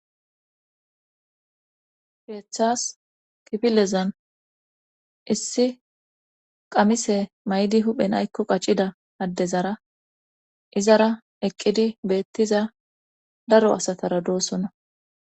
Keeththas kifillezan issi qamise maydi huphen aykko qaccida addezara izara eqqidi beettiza daro asatara doossona.